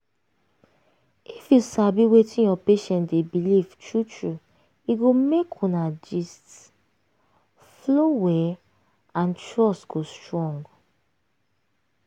if you sabi wetin your patient dey believe true true e go make una gist (rest small) flow well and trust go strong.